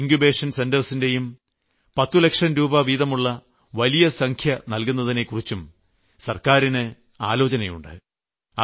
Atal incubation സെന്ററുകൾക്ക് 10 ലക്ഷം രൂപ വീതമുള്ള വലിയ സംഖ്യ നൽകുന്നതിനെക്കുറിച്ചും സർക്കാരിന് ആലോചനയുണ്ട്